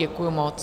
Děkuju moc.